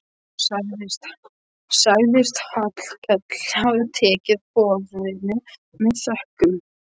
Sagðist Hallkell hafa tekið boðinu með þökkum.